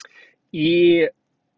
и